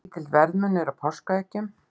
Lítill verðmunur á páskaeggjunum